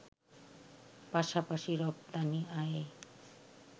পাশাপাশি রপ্তানি আয়ে